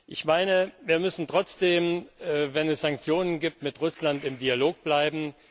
Ich meine, wir müssen trotzdem, obwohl es Sanktionen gibt, mit Russland im Dialog bleiben.